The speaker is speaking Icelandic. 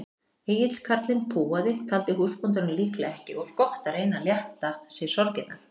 Egill karlinn púaði, taldi húsbóndanum líklega ekki of gott að reyna að létta sér sorgirnar.